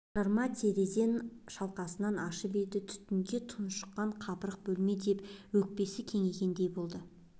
жарма терезен шалқасынан ашып еді түтінге тұншыққан қапырық бөлме деп өкпесі кеңігендей болды